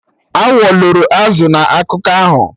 Awọ loro azụ na akụkọ ahụ